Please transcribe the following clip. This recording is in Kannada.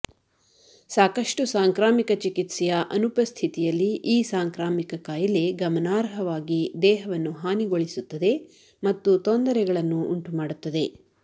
ಸಾಕಷ್ಟು ಸಾಂಕ್ರಾಮಿಕ ಚಿಕಿತ್ಸೆಯ ಅನುಪಸ್ಥಿತಿಯಲ್ಲಿ ಈ ಸಾಂಕ್ರಾಮಿಕ ಕಾಯಿಲೆ ಗಮನಾರ್ಹವಾಗಿ ದೇಹವನ್ನು ಹಾನಿಗೊಳಿಸುತ್ತದೆ ಮತ್ತು ತೊಂದರೆಗಳನ್ನು ಉಂಟುಮಾಡುತ್ತದೆ